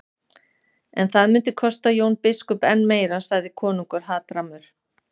En það myndi kosta Jón biskup enn meira, sagði konungur hatrammur.